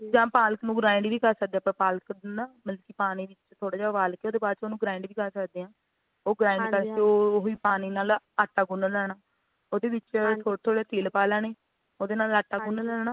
ਜਾਂ ਪਾਲਕ ਨੂੰ grind ਵੀ ਕਰ ਸਕਦੇ ਆ ਪਾਲਕ ਨਾ ਮਤਲਬ ਕਿ ਪਾਣੀ ਵਿੱਚ ਥੋੜਾ ਜਾ ਉਬਾਲ ਕੇ ਉਹਦੇ ਬਾਅਦ ਚ ਉਹਨੂੰ grind ਵੀ ਕਰ ਸਕਦੇ ਆ ਉਹ grind ਕਰਕੇ ਉਹੀ ਪਾਣੀ ਨਾਲ ਆਟਾ ਗੁੰਨ ਲੈਣਾ ਉਹਦੇ ਵਿੱਚ ਥੋੜੇ ਥੋੜੇ ਤਿਲ ਪਾ ਲੈਣੇ ਉਹਦੇ ਨਾਲ਼ ਆਟਾ ਗੁੰਨ ਲੈਣਾ